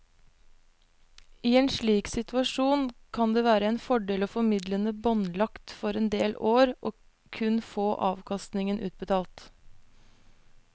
I en slik situasjon kan det være en fordel å få midlene båndlagt for en del år og kun få avkastningen utbetalt.